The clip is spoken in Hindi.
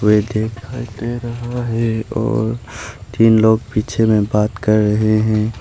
और तीन लोग पीछे में बात कर रहे हैं।